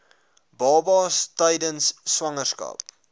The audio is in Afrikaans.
babas tydens swangerskap